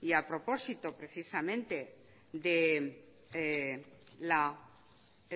y a propósito precisamente del